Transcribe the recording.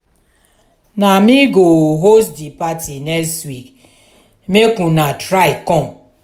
na me go host di party next week make una try come.